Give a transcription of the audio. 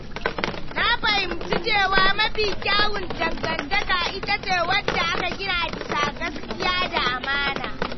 Na fahimci cewa mafi kyawun dangantaka ita ce wadda aka gina bisa gaskiya da amana.